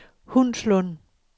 Hundslund